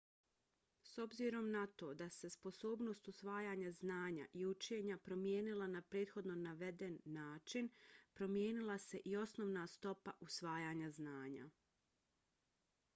s obzirom na to da se sposobnost usvajanja znanja i učenja promijenila na prethodno naveden način promijenila se i osnovna stopa usvajanja znanja